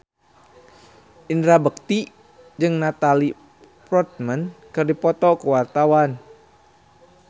Indra Bekti jeung Natalie Portman keur dipoto ku wartawan